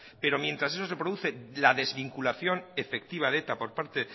pero mientras eso se produce la desvinculación efectiva de eta por parte